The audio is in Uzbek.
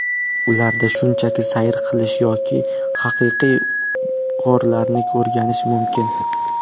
Ularda shunchaki sayr qilish yoki haqiqiy g‘orlarni o‘rganish mumkin.